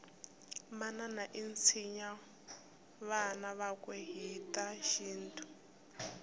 manana itsinya vana vakwe hhitashintu